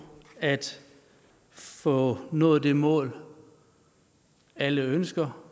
at få nået det mål alle ønsker